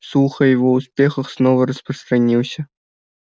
слух о его успехах снова распространился